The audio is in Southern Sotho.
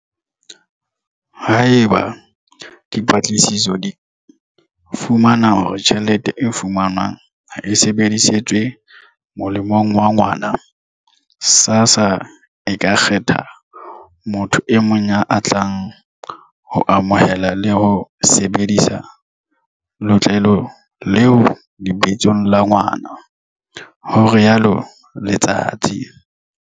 Haeba dipatlisiso di fumana hore tjhelete e fumanwang ha e sebedisetswe molemong wa ngwana, SASSA e ka kgetha motho e mong ya tlang ho amohela le ho sebedisa letlole leo lebitsong la ngwana, ho rialo Letsatsi.